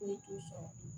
Ne dusu sɔn